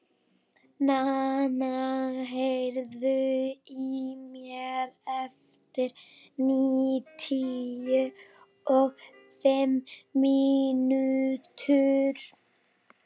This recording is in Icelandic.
Nana, heyrðu í mér eftir níutíu og fimm mínútur.